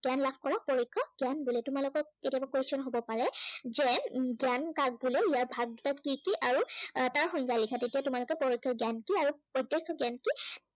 জ্ঞান লাভ কৰাক পৰোক্ষ জ্ঞান বোলে। তোমালোকক কেতিয়াবা question হ'ব পাৰে, যে জ্ঞান কাক বোলে ইয়াৰ ভাগ বিলাক কি কি আৰু এৰ তাৰ সংজ্ঞা লিখা। তেতিয়া তোমালোকে পৰোক্ষ জ্ঞান কি আৰু প্ৰত্য়ক্ষ জ্ঞান কি